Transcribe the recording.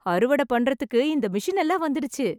அறுவடை பண்றதுக்கு இந்த மிஷின் எல்லாம் வந்துடுச்சு.